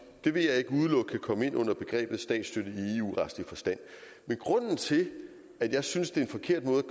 kan komme ind under begrebet statsstøtte i eu retlig forstand men grunden til at jeg synes det er en forkert måde